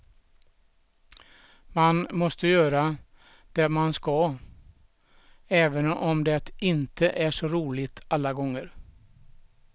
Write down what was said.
Man måste göra det man ska, även om det inte är så roligt alla gånger.